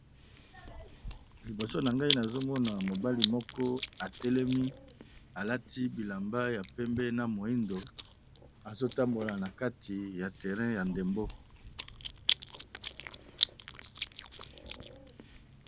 Liboso na nga nazomona mobali moko atelemi alati bilamba ya pembe na moyindo azotambola nakati ya terrain ya ndembo.